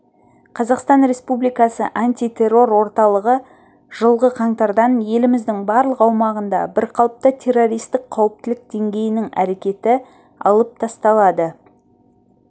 қазақстан республикасы антитеррор орталығы жылғы қаңтардан еліміздің барлық аумағында бірқалыпты террористік қауіптілік деңгейінің әрекеті алып тасталады